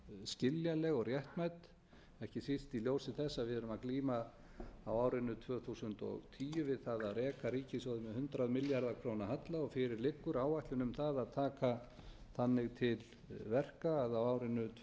skiljanleg og réttmæt ekki síst í ljósi þess að við erum að glíma á árinu tvö þúsund og tíu við það að reka ríkissjóð með hundrað milljarða króna halla og fyrir liggur áætlun um það að taka þannig til verka að á árinu tvö